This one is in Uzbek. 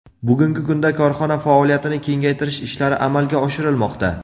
Bugungi kunda korxona faoliyatini kengaytirish ishlari amalga oshirilmoqda.